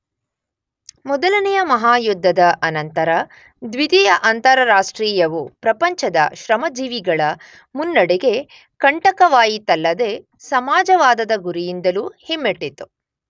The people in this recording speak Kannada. ಮೊದಲನೆಯ ಮಹಾಯುದ್ಧದ ಅನಂತರ ದ್ವಿತೀಯ ಅಂತಾರಾಷ್ಟ್ರೀಯವು ಪ್ರಪಂಚದ ಶ್ರಮಜೀವಿಗಳ ಮುನ್ನಡೆಗೆ ಕಂಟಕವಾಯಿತಲ್ಲದೆ ಸಮಾಜವಾದದ ಗುರಿಯಿಂದಲೂ ಹಿಮ್ಮೆಟ್ಟಿತು.